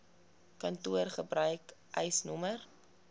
kantoor gebruik eisnr